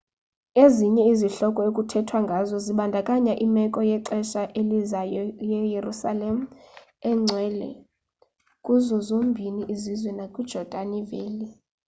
ezinye izihloko ekuthethwa ngazo zibandakanya imeko yexesha elizayo yeyerusalem engcwele kuzo zombini izizwe nakwi yejordani valley